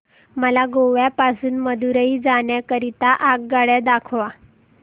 मला गोवा पासून मदुरई जाण्या करीता आगगाड्या दाखवा